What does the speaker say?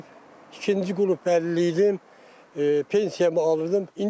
İkinci qrup əlilliyidim, pensiyamı alırdım.